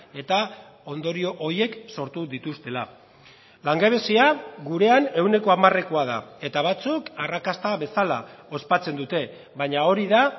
eta ondorio horiek sortu dituztela langabezia gurean ehuneko hamarekoa da eta batzuk arrakasta bezala ospatzen dute baina hori da